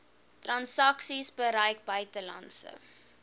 transaksies gebruik buitelandse